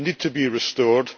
they need to be restored.